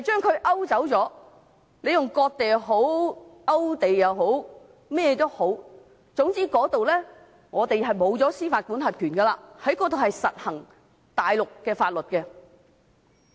不管你稱之為"割地"、勾地或甚麼，總之，我們在那裏會失去司法管轄權，在那裏會實施大陸的法律。